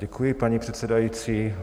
Děkuji, paní předsedající.